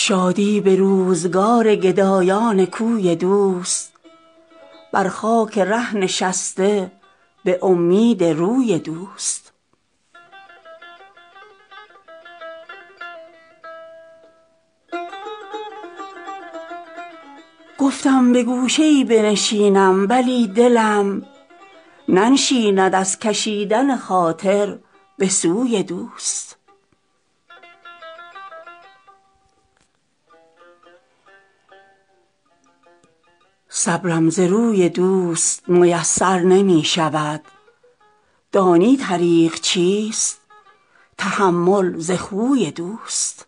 شادی به روزگار گدایان کوی دوست بر خاک ره نشسته به امید روی دوست گفتم به گوشه ای بنشینم ولی دلم ننشیند از کشیدن خاطر به سوی دوست صبرم ز روی دوست میسر نمی شود دانی طریق چیست تحمل ز خوی دوست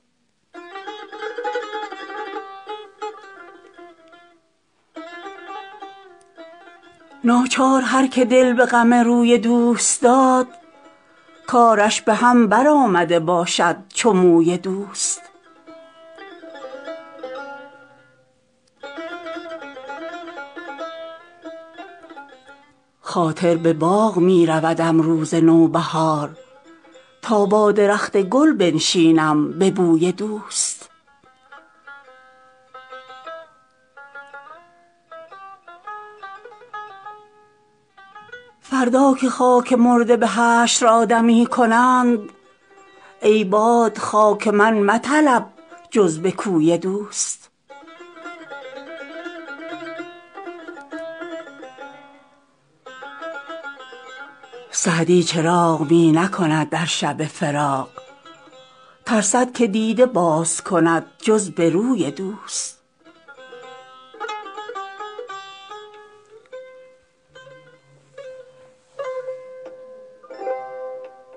ناچار هر که دل به غم روی دوست داد کارش به هم برآمده باشد چو موی دوست خاطر به باغ می رودم روز نوبهار تا با درخت گل بنشینم به بوی دوست فردا که خاک مرده به حشر آدمی کنند ای باد خاک من مطلب جز به کوی دوست سعدی چراغ می نکند در شب فراق ترسد که دیده باز کند جز به روی دوست